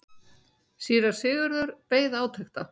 Síra Sigurður beið átekta.